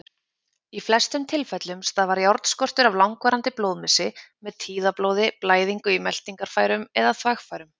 Í flestum tilfellum stafar járnskortur af langvarandi blóðmissi, með tíðablóði, blæðingu í meltingarfærum eða þvagfærum.